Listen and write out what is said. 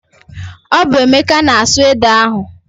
Ọ bụ Emeka na-asụ ede ahụ.